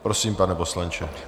Prosím, pane poslanče.